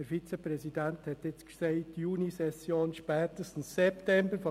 Der Vizepräsident hat jetzt «Junisession, spätestens September» gesagt.